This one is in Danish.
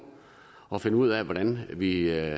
og finder ud af hvordan vi